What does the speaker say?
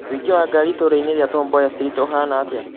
ũingĩ wa ngari itũũra-inĩ ria tom mboya street ũhaana atĩa